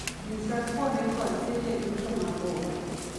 nyisa kuonde kod seche duto mabor